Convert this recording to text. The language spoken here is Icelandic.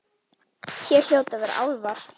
Hér hljóta að vera álfar.